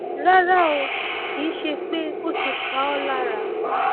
rárá o kì í ṣe pé ó ti pa ọ lára